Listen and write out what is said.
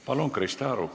Palun, Krista Aru!